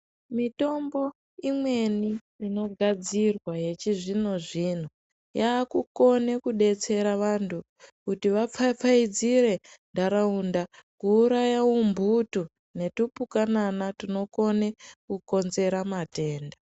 Mitombo imweni inogadzirwa yechizvino-zvino yakukone kubetsera vantu kuti vapfapfaidzire ntaraunda. Kuuraya umbutu netupukanana tunokone kukonzera matenda.